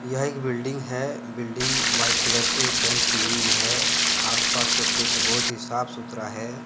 यह एक बिल्डिंग है बिल्डिंग व्हाइट कलर से पेंट की हुई है। आस पास का क्षेत्र बहुत ही साफ सुथरा है।